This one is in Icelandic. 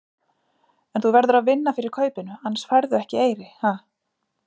En þú verður að vinna fyrir kaupinu, annars færðu ekki eyri, ha?